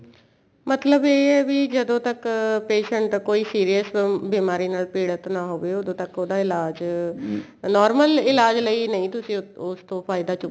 ਮਤਲਬ ਇਹ ਏ ਵੀ ਜਦੋਂ ਤੱਕ patient ਦਾ ਕੋਈ serious ਬਿਮਾਰੀ ਨਾਲ ਪੀੜਿਤ ਨਾ ਹੋਵੇ ਉਦੋਂ ਤੱਕ ਉਹਦਾ ਇਲਾਜ normal ਇਲਾਜ ਲਈ ਨਹੀਂ ਤੁਸੀਂ ਉਸ ਤੋਂ ਫਾਇਦਾ